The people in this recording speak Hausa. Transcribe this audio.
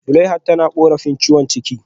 Zuleihat tana korafin ciwon ciki